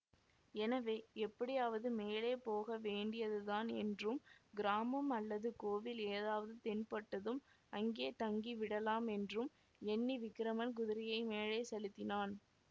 எனவே எப்படியாவது மேலே போக வேண்டியதுதான் என்றும் கிராமம் அல்லது கோவில் ஏதாவது தென்பட்டதும் அங்கே தங்கி விடலாமென்றும் எண்ணி விக்கிரமன் குதிரையை மேலே செலுத்தினான்